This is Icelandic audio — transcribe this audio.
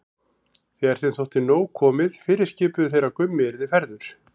Þegar þeim þótti nóg komið fyrirskipuðu þeir að Gummi yrði færður.